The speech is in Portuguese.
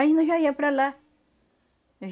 Aí nós já ia para lá.